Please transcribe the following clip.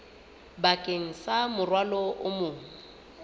bakeng sa morwalo o mong